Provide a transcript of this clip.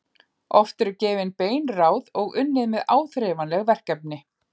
Oft eru gefin bein ráð og unnið með áþreifanleg verkefni.